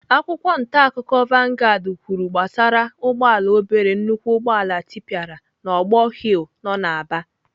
Akwụkwọ ntaakụkọ vanguards kwuru gbasara ụgbọala obere nnukwu ụgbọala tịpịara n'ogbor hill nọ n'Aba.